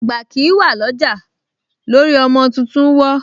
Àgbà kìí wà ọlọ́jà lórí ọmọ tuntun wó